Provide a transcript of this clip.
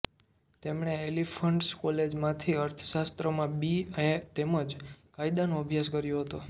તેમણે એલ્ફિન્સ્ટન કોલેજમાંથી અર્થશાસ્ત્રમાં બી એ તેમજ કાયદાનો અભ્યાસ કર્યો હતો